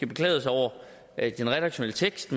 beklaget sig over den redaktionelle tekst